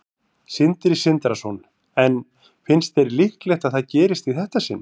Sindri Sindrason: En finnst þér líklegt að það gerist í þetta sinn?